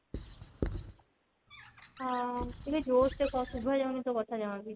ହଁ ଟିକେ ଜୋରସେ କହ ଶୁଭା ଯାଉନି ତୋ କଥା ଜମା ବି